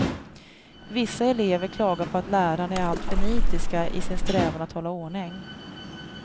Vissa elever klagar på att lärarna är alltför nitiska i sin strävan att hålla ordning.